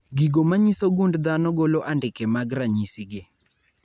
Gigo manyiso gund dhano golo andike mag ranyisi gi